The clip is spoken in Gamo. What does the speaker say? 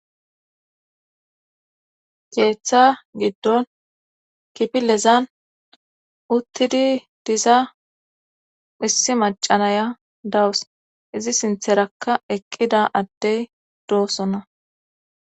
keeththa giddon kipilezan uttidi diza missi macanaya dawus izi sintherakka eqqida addey doosona.